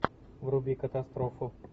вруби катастрофу